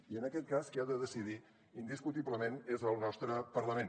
i en aquest cas qui ha de decidir indiscutiblement és el nostre parlament